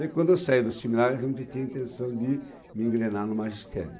Daí, quando eu saí do seminário, a gente tinha a intenção de me engrenar no magistério.